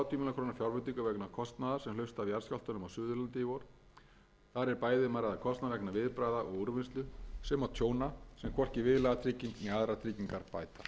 króna fjárveitingu vegna kostnaðar sem hlaust af jarðskjálftunum á suðurlandi í vor þar er bæði um að ræða kostnað vegna viðbragða og úrvinnslu sem og tjóna sem hvorki viðlagatrygging né aðrar tryggingar bæta frú forseti mun